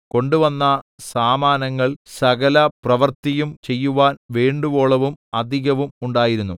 കൊണ്ടുവന്ന സാമാനങ്ങൾ സകല പ്രവൃത്തിയും ചെയ്യുവാൻ വേണ്ടുവോളവും അധികവും ഉണ്ടായിരുന്നു